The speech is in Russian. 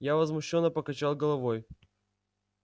я возмущённо покачал головой